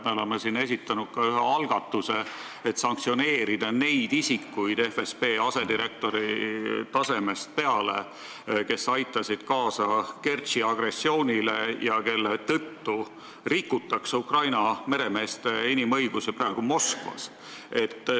Me oleme siin esitanud ühe algatuse, et sanktsioneerida neid isikuid FSB asedirektori tasemest peale, kes aitasid kaasa Kertši agressioonile ja kelle tõttu rikutakse praegu Moskvas Ukraina meremeeste inimõigusi.